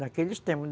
Naqueles tempos.